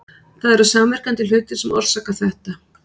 Það eru samverkandi hlutir sem orsaka þetta.